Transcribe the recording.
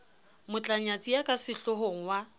motlanyatsi ya ka sehlohong wa